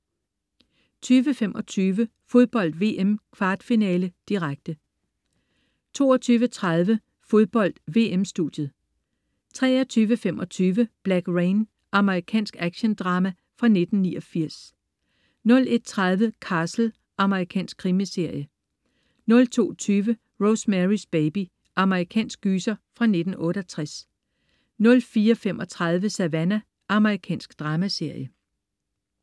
20.25 Fodbold VM: Kvartfinale, direkte 22.30 Fodbold: VM-studiet 23.25 Black Rain. Amerikansk actiondrama fra 1989 01.30 Castle. Amerikansk krimiserie 02.20 Rosemarys baby. Amerikansk gyser fra 1968 04.35 Savannah. Amerikansk dramaserie